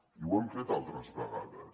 i ho hem fet altres vegades